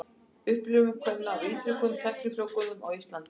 Upplifun kvenna af ítrekuðum tæknifrjóvgunum á Íslandi.